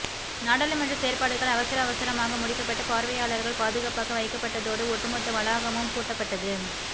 நாடாளுமன்ற செயற்பாடுகள் அவசர அவசரமாக முடிக்கப்பட்டு பார்வையாளர்கள் பாதுகாப்பாக வைக்கப்பட்டதோடு ஒட்டுமொத்த வளாகமும் பூட்டப்பட்டது